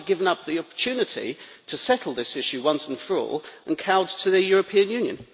Why has he given up the opportunity to settle this issue once and for all and cowed to the European Union?